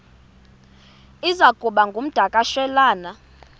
iza kuba ngumdakasholwana